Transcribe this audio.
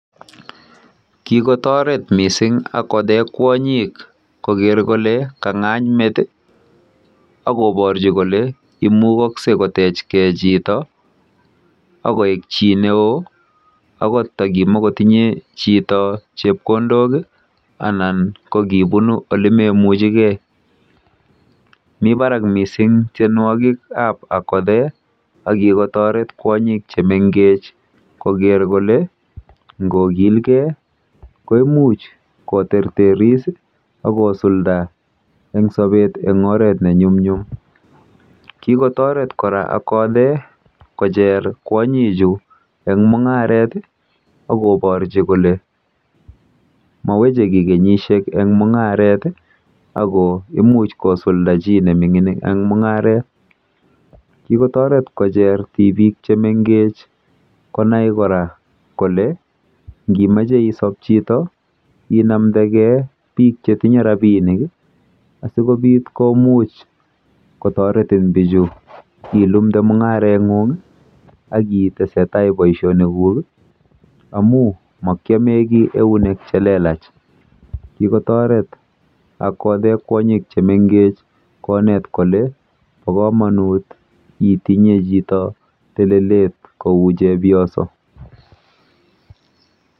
Kikotaret missing' Akothee kwonyik koker kole kang'any met i, ak koparchi kole imukakse kotechgei chito akoek chi neoo agot takimakotinye chito chepkondok i anan ko kipunu ole memuchigei. Mi parak missing' tienwogikap Akothee ako kikotaret kwonyik che mengech koket r kole ngo kil gei koimuch koterteris ak kosulda eng' sapet eng' oret ne nyumnyum. Kikotaret kora Akothee kocher kwonyichu eng' mung'aret i, ak koparchi kole maweche ki kenyishek eng' mung'aret i ako imuch kosulda chi ne mining' eng' mung'aret. Kikotaret kocher tipik che mengech konai kora kole ngimache isop chito inamdegei piik che tinye rapinik i asikopit komuch kotaretin pichu ilumde mung'areng'ung' i akitese tai poishonikuk ami maki ame ki eunek che lelach. Kikotaret Akothee kwonyik che mengech konet kole pa kamanut itinye chito telelet kou chepyoso.